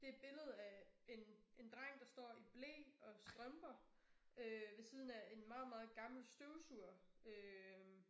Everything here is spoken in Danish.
Det et billede af en en dreng der står i ble og strømper øh ved siden af en meget meget gammel støvsuger øh